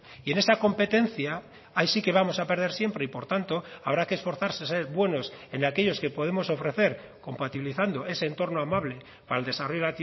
y en esa competencia ahí sí que vamos a perder siempre y por tanto habrá que esforzarse ser buenos en aquellos que podemos ofrecer compatibilizando ese entorno amable para el desarrollo